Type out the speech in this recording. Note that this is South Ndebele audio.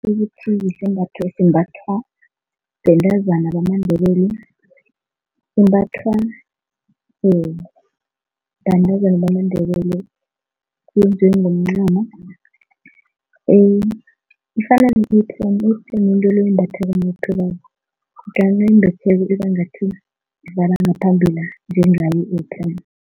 Sisembatho esimbathwa bentazana bamaNdebele. Imbathwa bantazana bamaNdebele, kunjengomncamo ifana ibangathi livala ngaphambila njengayo